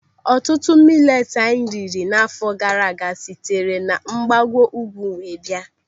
Ọtụtụ mileti anyị riri n'áfọ gaara aga sitere na mgbago ugwu were bịa.